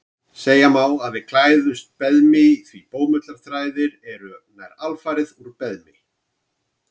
Segja má að við klæðumst beðmi því bómullarþræðir eru nær alfarið úr beðmi.